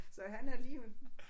Så han er lige øh